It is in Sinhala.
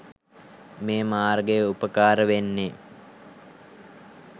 මේ මාර්ගය උපකාර වෙන්නෙ.